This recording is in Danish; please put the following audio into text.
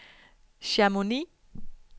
Chamonix